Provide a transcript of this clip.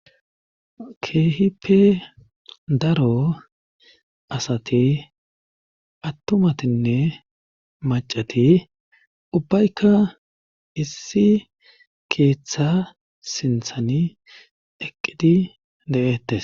keehipe daro asati attumatinne macati ubbaykka issi keeththa sinthani eqqidi de7ettes